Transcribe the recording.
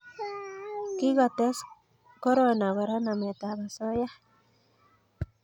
Kikotes korona Kora nametab osoya